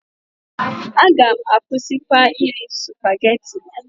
A gam akwụsịkwa iri Supageti.